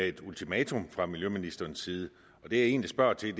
et ultimatum fra miljøministerens side det jeg egentlig spørger til